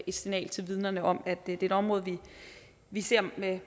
et signal til vidnerne om at det er et område vi ser med